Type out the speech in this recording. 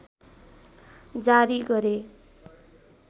जारी गरे